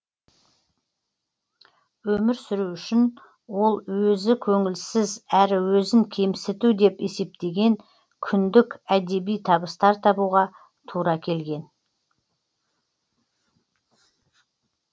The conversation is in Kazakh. өмір сүру үшін ол өзі көңілсіз әрі өзін кемсіту деп есептеген күндік әдеби табыстар табуға тура келген